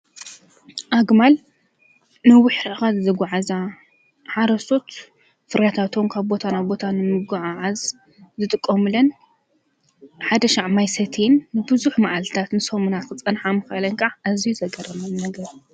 ኣግማል ንዊኅ ርሕቓት ዘጐዓእዛ ሓረሶት ፍራታ ቶንካ ቦታናብ ቦታኑ ምጐዓዓዝ ዘጥቆምለን ሓደሻዕ ማይሰትን ንብዙኅ መዓልትታት ንሰሙና ኽጸንሓምካለንቃዓ ኣዚይ ዘገረመን ነገር እዩ።